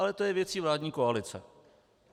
Ale to je věcí vládní koalice.